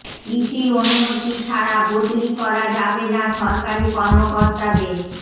ইসির অনুমতি ছাড়া বদলি করা যাবে না সরকারি কর্মকর্তাদের